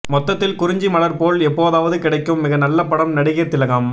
மொத்தத்தில் குறிஞ்சி மலர் போல் எப்போதாவது கிடைக்கும் மிக நல்ல படம் நடிகையர் திலகம்